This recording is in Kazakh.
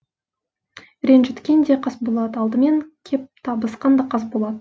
ренжіткен де қасболат алдымен кеп табысқан да қасболат